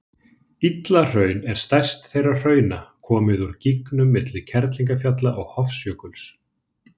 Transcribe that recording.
Illahraun er stærst þessara hrauna, komið úr gígum milli Kerlingarfjalla og Hofsjökuls.